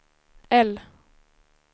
L